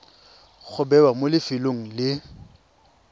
go bewa mo lefelong le